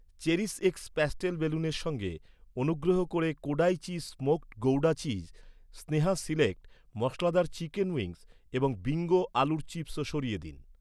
CherishX pastel বেলুনের সঙ্গে, অনুগ্রহ করে Kodai cheese smoked gouda cheese , Sneha select ,মশলাদার চিকেন উইংস এবং বিঙ্গো আলুর চিপস্ও সরিয়ে দিন।